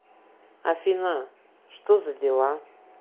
афина что за дела